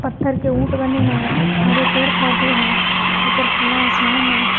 पत्थर के ऊंट बने है हरे पेड़ पौधे है ऊपर खुला आसमान है।